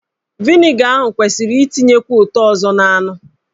Vịnịga ahụ kwesịrị itinyekwu ụtọ ọzọ n'anụ.